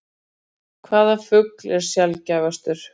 Hvaða fugl er sjaldgæfastur?